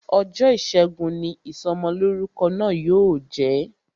Ọjọ́ ìṣẹ́gun ni Ìsọmọlọ́rúkọ náà yóò jẹ